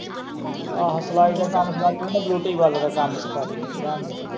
ਆਹੋ ਸਿਲਾਈ ਦਾ ਕੰਮ ਸਿਖਾਈ। ਤੂੰ ਨਾ ਬਿਊਟੀ ਪਾਰਲਰ ਦਾ ਕੰਮ ਸਿਖਾਵੀ ਰਹਿਣ ਦੇ।